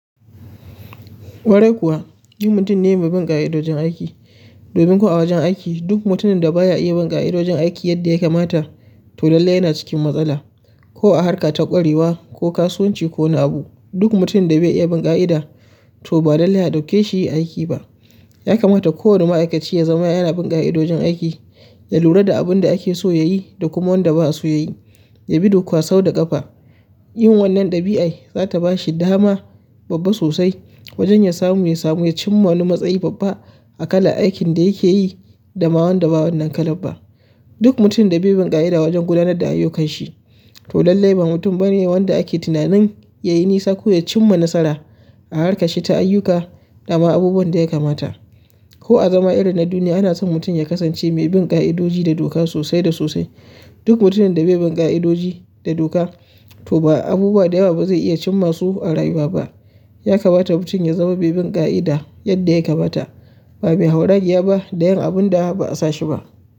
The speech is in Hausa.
Ƙwarai kuwa ni mutum ne mai bin ƙa'idojin aiki domin ko a wajen aiki duk mutumin da baya iya bin ƙa'idojin aiki yadda ya kamata to lallai yana cikin matsala. Ko a harka ta ƙwarewa ko kasuwanci ko wani abu, duk mutumin da bai iya bin ƙa'ida to ba lallai a ɗauke shi aiki ba. Ya kamata kowane ma'aikaci ya zama yana bin ƙa'idojin aiki, ya lura da abinda akeso yayi da kuma wanda ba'a so yayi, yabi doka sau da ƙafa. Yin wannan ɗabi'ar za ta bashi dama babba sosai, wajen ya samu ya samu ya cimma wani matsayi babba a kalar aikin da yakeyi da ma wanda ba wannan kalar ba duk mutum da bai bin ƙa'ida wajen gudanar da ayyukanshi to lallai ba mutum bane wanda ake tunanin yayi nisa ko ya cimma nasara a harkar shi ta ayyuka da ma abubuwan ɗaya kamata ko a zaman irin na duniya ana son mutum ya kasance mai bin ƙa'idoji da doka sosai da sosai. Duk mutumin da bai bin ƙa'idoji da doka to ba abubuwa dayawa bazai iya cimma su a rayuwa ba. Ya kamata mutum ya zama mai bin ƙa'ida yadda ya kamata ba mai hauragiya ba da yin abun da ba'a sa shi ba.